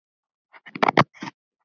Voruð klók.